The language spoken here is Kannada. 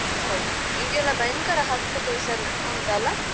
ಹೊ ಈಗೆಲ್ಲ ಭಯಂಕರ case ಎಲ್ಲಾ ಉಂಟಲ್ಲಾ.